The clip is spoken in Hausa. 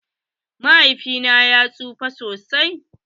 Mahaifin su ya tsufa sosai.